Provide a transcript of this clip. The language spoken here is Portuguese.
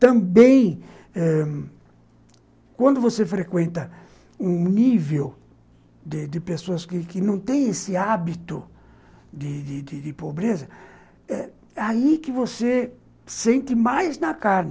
Também ãh quando você frequenta um nível de de pessoas que não têm esse hábito de de de pobreza, eh aí que você sente mais na carne.